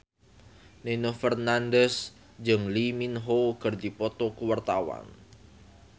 Nino Fernandez jeung Lee Min Ho keur dipoto ku wartawan